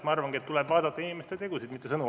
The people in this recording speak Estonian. Ma arvangi, et tuleb vaadata inimeste tegusid, mitte sõnu.